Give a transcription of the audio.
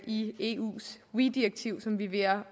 i eus weee direktiv som vi er